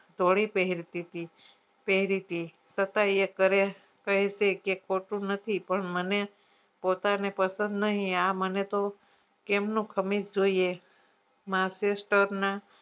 ધોળી પહેરતીતી પહેરીતી છતાય એ કહે કેહતી કે કોટુ નથી પણ મને પોતાને પસંદ નહિ આ મને તો કેમનું ખમીસ જોઈએ masester ના